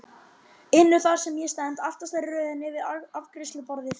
inu þar sem ég stend, aftastur í röðinni við afgreiðsluborðið.